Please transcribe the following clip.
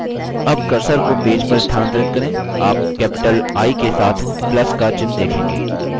अब cursor को page पर स्थानांतरित करें आप capital i के साथ plus का चिन्ह देखेंगे